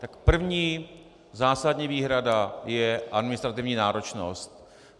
Tak první zásadní výhrada je administrativní náročnost.